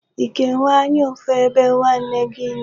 Ị ga-enwe anya ụfụ ebe nwanne gị nọ?